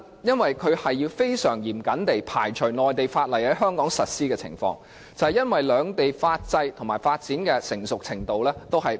就是要極度嚴謹地排除內地法例在香港實施的情況，因為兩地的法制及發展的成熟程度並不相同。